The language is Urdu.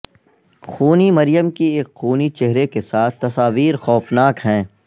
خونی مریم کی ایک خونی چہرے کے ساتھ تصاویر خوفناک ہیں